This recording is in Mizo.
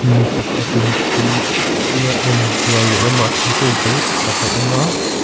mi pakhatin tui pui a en ral lehlam ah thingkung tam tak a awm a.